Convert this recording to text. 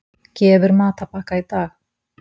Gefur matarbakka í dag